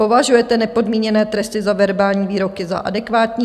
Považujete nepodmíněné tresty za verbální výroky za adekvátní?